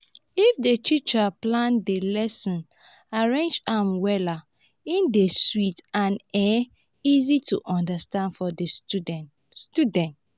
if di teacher plan di lesson arrange am wella e dey sweet and um easy to understand for di students. students.